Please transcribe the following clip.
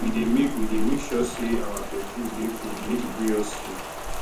we dey make we dey make sure sey our bedroom dey cool make e gree us sleep